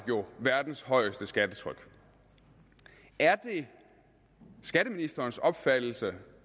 jo verdens højeste skattetryk er det skatteministerens opfattelse